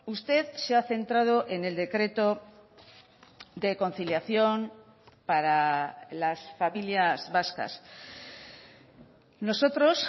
usted se ha centrado en el decreto de conciliación para las familias vascas nosotros